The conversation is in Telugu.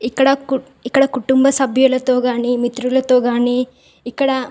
ఇక్కడ కోతుబా సతిలతో కానీ అండ్ తిరగటానికి చాలా బాగుతడి అమ్నకు--